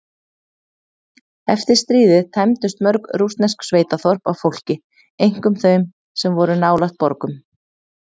Eftir stríðið tæmdust mörg rússnesk sveitaþorp af fólki, einkum þau sem voru nálægt borgum.